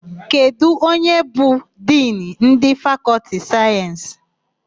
Kedụ onye bụ Dinu ndị Fakọltị sayensị?